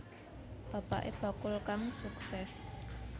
Bapaké bakul kang suksès